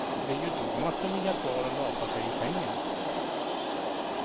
Det är ju då man ska ligga kvar och lata sig i sängen.